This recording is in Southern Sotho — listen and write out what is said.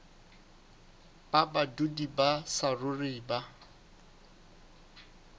ba badudi ba saruri ba